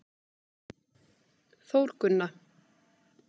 Þórgunna